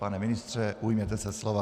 Pane ministře, ujměte se slova.